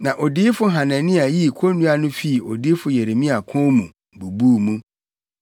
Na odiyifo Hanania yii konnua no fii odiyifo Yeremia kɔn mu, bubuu mu,